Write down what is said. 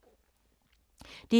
DR1